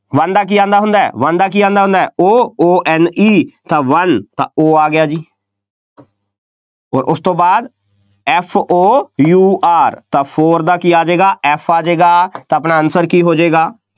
one ਦਾ ਕੀ ਆਉਂਦਾ ਹੁੰਦਾ, one ਦਾ ਕੀ ਆਉਂਦਾ ਹੁੰਦਾ O, O N E ਤਾਂ one ਤਾਂ O ਆ ਗਿਆ ਜੀ ਅੋਰ ਉਸ ਤੋਂ ਬਾਅਦ F O U R ਤਾਂ four ਦਾ ਕੀ ਆ ਜਾਏਗਾ F ਆ ਜਾਏਗਾ, ਤਾਂ ਆਪਣਾ answer ਕੀ ਹੋ ਜਾਏਗਾ,